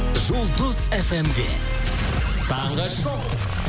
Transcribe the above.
жұлдыз фм де таңғы шоу